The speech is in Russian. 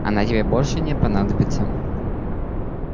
она тебе больше не понадобится